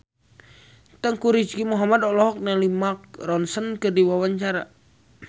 Teuku Rizky Muhammad olohok ningali Mark Ronson keur diwawancara